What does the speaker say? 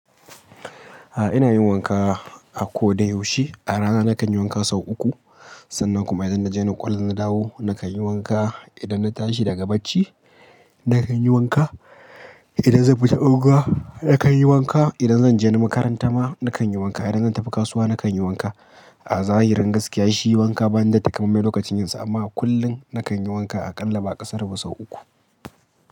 A ina yin wanka a ko da yaushe. A rana nakan yi wanka sau uku. Sannan kuma idan na je na ƙwallo na dawo nakan yi wanka. Idan na tashi daga bacci nakan yi wanka. Idan zan fita unguwa nakan yi wanka. Idan zan je na makaranta ma nakan yi wanka. Idan zan tafi kasuwa nakan yi wanka. A zahirin gaskiya shi wanka ba ni da takamaime lokacin yinsa amma kullum nakan yi wanka aƙalla ba aƙasaru ba sau uku.